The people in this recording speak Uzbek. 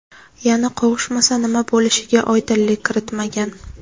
Yana qovushmasa nima bo‘lishiga oydinlik kiritmagan.